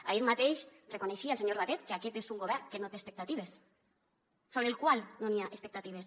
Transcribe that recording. ahir mateix reconeixia el senyor batet que aquest és un govern que no té expectatives sobre el qual no n’hi ha expectatives